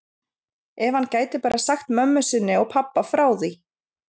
Ef hann gæti bara sagt mömmu sinni og pabba frá því.